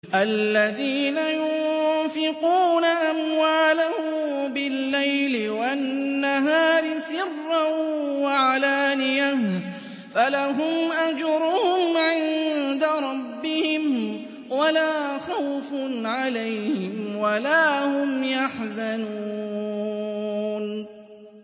الَّذِينَ يُنفِقُونَ أَمْوَالَهُم بِاللَّيْلِ وَالنَّهَارِ سِرًّا وَعَلَانِيَةً فَلَهُمْ أَجْرُهُمْ عِندَ رَبِّهِمْ وَلَا خَوْفٌ عَلَيْهِمْ وَلَا هُمْ يَحْزَنُونَ